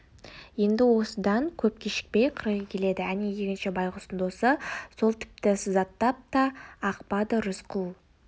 енді осыдан көп кешікпей қырғи келеді әне егінші байғұстың досы сол тіпті сызаттап та ақпады рысқұл